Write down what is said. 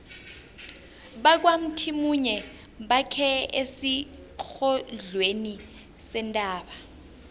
bakwamthimunye bakhe esiqongolweni sentaba